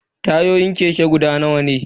Tayoyin keke guda nawa ne?